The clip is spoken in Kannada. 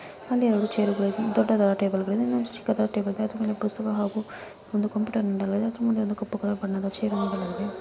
ಅಲ್ಲಿ ಒಂದು ಚೇರ್ಗ ಳಿವೆ ದೊಡ್ಡದಾದ ಟೇಬಲ್ಗ ಳಿವೆ ಚಿಕ್ಕದಾದ ಟೇಬಲ್ ಇದೆ ಅದರ ಮೇಲೆ ಪುಸ್ತಕ ಹಾಗೂ ಒಂದು ಕಂಪ್ಯೂಟರ್ ನೀಡಲಾಗಿದೆ ಅದರ ಮುಂದೆ ಕಪ್ಪು ಕಲರ್ ಬಣ್ಣದ ಚೇರ್ಗ ಳಿವೆ ನೀಡಲಾಗಿದೆ .